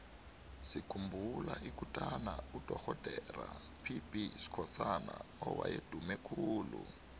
sikhumbula ikutana udorhodera pb skhosana owaye adume khulu